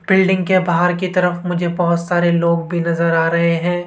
Building के बाहर की तरफ मुझे बहोत सारे लोग भी नजर आ रहे हैं।